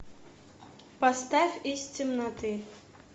поставь из темноты